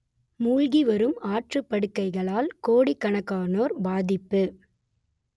மூழ்கிவரும் ஆற்றுப்படுகைகளால் கோடிக்கணக்கானோர் பாதிப்பு